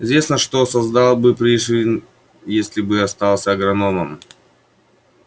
известно что создал бы пришвин если бы остался агрономом